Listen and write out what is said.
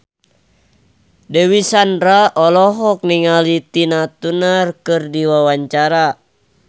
Dewi Sandra olohok ningali Tina Turner keur diwawancara